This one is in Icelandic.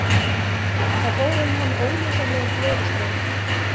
Það fóru um hann ólýsanlegir gleðistraumar.